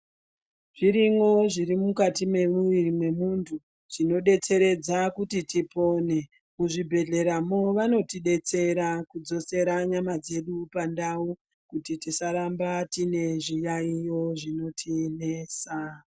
Zvirimwo zviri mukati mwemuwiri mwemuntu zvinodetseredza kuti tipona kuzvibhedhlera vanotidetsera kudzosera nyama dzedu pandau kuti tisaramba tine zviyaiyo zvinotinesa.